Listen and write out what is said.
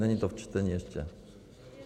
Není to v čtení ještě?